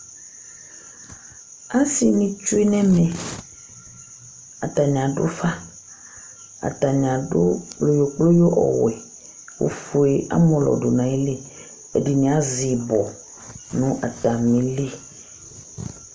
Asi ni tsʋe nʋ ɛmɛ Atani adu ʋfa Atani adu kployo kployo ɔwɛ, ɔfʋe amɔlɔdu nʋ ayìlí Ɛdiní azɛ ibɔ nʋ atamili